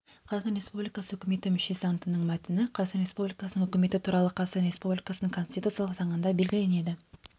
қазақстан республикасы үкіметі мүшесі антының мәтіні қазақстан республикасының үкіметі туралы қазақстан республикасының конституциялық заңында белгіленеді